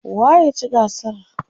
waye ya ci gasar?